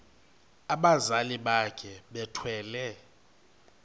abazali bakhe bethwele